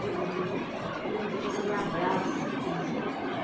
Todo mundo, todo mundo chega e me abraça. Diz